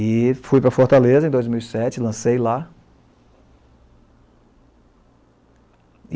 E fui para Fortaleza em dois mil e sete, lancei lá.